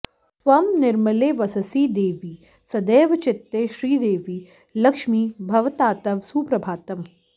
त्वं निर्मले वससि देवि सदैव चित्ते श्रीदेवि लक्ष्मि भवतात्तव सुप्रभातम्